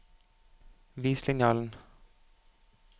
Vis linjalen